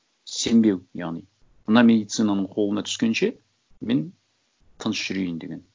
сенбеу яғни мына медицинаның қолына түскенше мен тыныш жүрейін деген